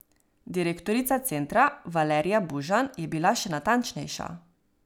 Direktorica centra Valerija Bužan je bila še natančnejša.